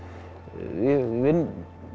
ég vinn